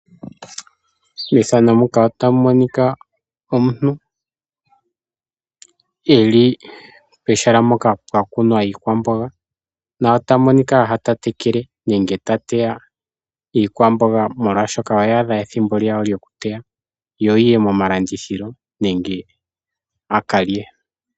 Methano muka otamu monika omuntu eli pehala mpoka pwa kunwa iikwamboga. Na ota monika afa ta tekele nenge ta teya iikwamboga oshoka oya adha ethimbo lyawo lyoku teya. Yo yiye moma landithilo nenge yakalye.